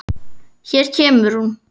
Hér kemur hún.